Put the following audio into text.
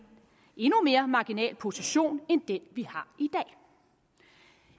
endnu mere marginal position end den vi har